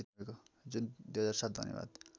जुन २००७ धन्यवाद